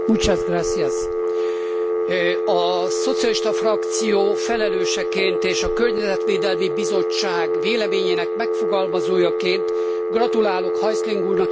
A szocialista frakció felelőseként és a Környezetvédelmi Bizottság véleményének megfogalmazójaként gratulálok Häusling úrnak és köszönöm a kiváló együttműködést.